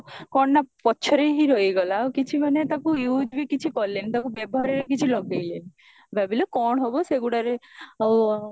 କଣ ନା ପଛରେ ହିଁ ରହିଗଲା କିଛି ମାନେ ତାକୁ useବି କିଛି କଲେନି ତାକୁ ବ୍ୟବହାରରେ କିଛି ଲଗେଇଲେନି ଭାବିଲ କଣ ହବ ସେଗୁଡାରେ ଆଉ